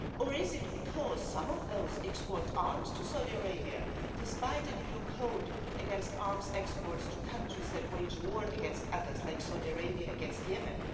Is it because some of those Member States export arms to Saudi Arabia, despite an EU code against arms exports to countries that wage war against others, like Saudi Arabia against Yemen?